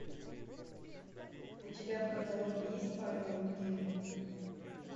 у тебя в каталоге есть павел лунгин